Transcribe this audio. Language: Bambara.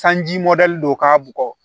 Sanji mɔdɛli don k'a bugɔ